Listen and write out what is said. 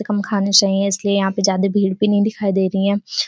कम खाना चाहिएं इसलिए यहाँ पे ज्यादे भीड़ भी नहीं दिखाई दे रहीं है।